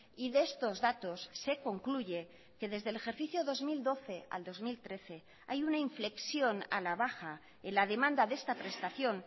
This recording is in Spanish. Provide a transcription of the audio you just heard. y de estos datos se concluye que desde el ejercicio dos mil doce al dos mil trece hay una inflexión a la baja en la demanda de esta prestación